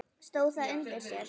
Stóð það undir sér?